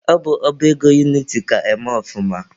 Ọ bụ ọba ego uniti ka eme ọfụma.